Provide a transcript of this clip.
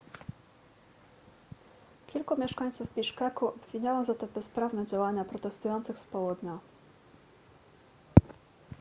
kilku mieszkańców biszkeku obwiniało za te bezprawne działania protestujących z południa